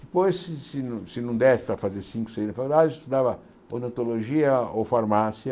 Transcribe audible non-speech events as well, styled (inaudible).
Depois, se se não se não desse para fazer cinco, seis (unintelligible) estudava odontologia ou farmácia.